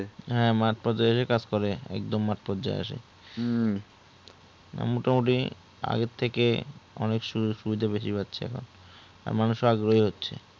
হ্যাঁ মাঠ পর্যায়ে এসে কাজ করে একদম মাঠ পর্যায়ে আসে হু মোটামুটি আগের থেকে অনেক শুরু শুরুতে বেশি পাচ্ছে আর মানুষে আগ্রহী হচ্ছে